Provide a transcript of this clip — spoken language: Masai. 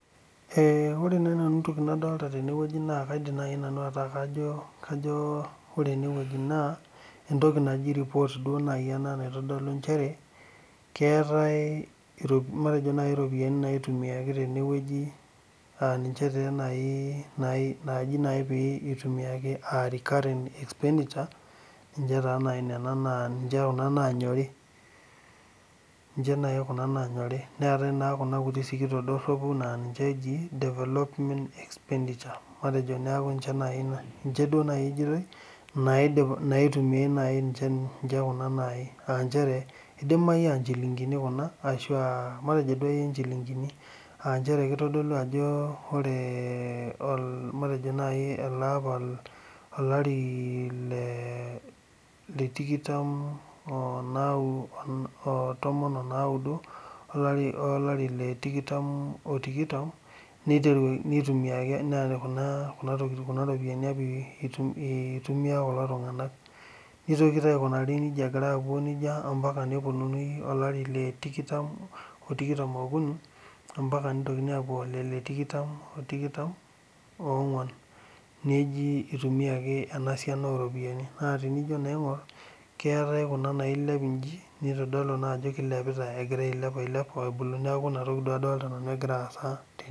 Ee ore naaji nanu entoki nadolita tenewueji naa entoki naji report naaji ena naitodolu nchere keetae matejo naaji ropiyiani naitimiaki tene wueji aa taa ninche naaji itumiaki aah recurrent expenditure ninche taa naaji nena ninche kuna naanyori neetae naa kuna kutik sikitok doropu naa ninche eji development expenditure matejo niaku ninche duo naaji ejoitoi naitumia ninche kuna aa nchere eidamayu naa nchilingini kuna ashua matejo duakeyi nchilingini aa nchere keitodolu ajo ore matejo naaji ele apa olari le tikitam oo tomon o naudo olari le tikitam o tikitam neitumiaki kuna ropiyiani apa kulo tunganak nitoki taa aikunari nijia egira aapuo nijia ompaka nipuoi olari le tikitam o tikitam oo kuni ombaka neitokinini apuo alari le tikitam o nguan neji eitumiaki ena siana oo ropiyiani nijo naa aingorr keetae kuna nailep njii neitodolu naa ajo keilepita egirra ailep ailep niaku ina toki duo adolita nanu egira aasa tene